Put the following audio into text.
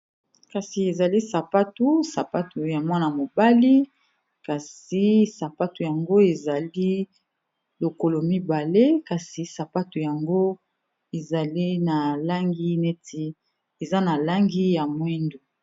kasi ezali sapatu sapatu ya mwana mobali kasi sapatu yango ezali lokolo mibale kasi sapato yango ezali na langi neti eza na langi ya moindo